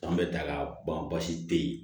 Fan bɛɛ da ka ban basi te ye